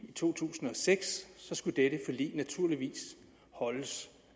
i to tusind og seks skulle det forlig naturligvis holdes